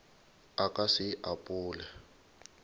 a ka se e apole